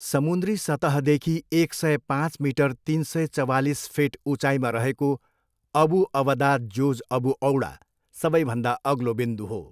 समुन्द्री सतहदेखि एक सय पाँच मिटर, तिन सय चवालिस फिट, उचाइमा रहेको अबु अवदा, जोज अबु औडा, सबैभन्दा अग्लो बिन्दु हो।